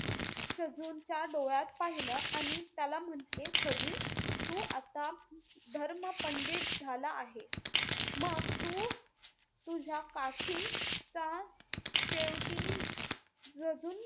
छजूनच्या डोळ्यात पाहिलं आणि त्याला म्हंटले छजून, तू आता धर्मपंडित झाला आहे, मग तु तुझ्या काठीचा शेवटी, छजून,